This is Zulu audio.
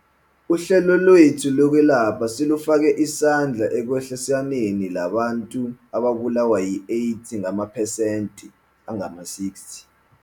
Uhlelo lwethu lokwelapha selufake isandla ekwehliseniinani labantu ababulawa yiAIDS ngamaphesenti angama-60.